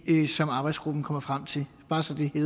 som arbejdsgruppen kommer frem til bare så det er